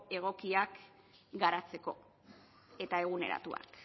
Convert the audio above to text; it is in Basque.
egokiak garatzeko eta eguneratuak